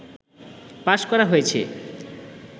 pass করা হয়েছে